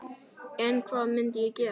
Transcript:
En hvað myndi ég gera?